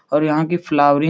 और यहाँ की फ्लावरिंग --